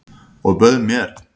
Og bauð mér.